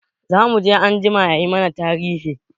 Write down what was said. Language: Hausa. Zamuje anjima yayi mana tarihi.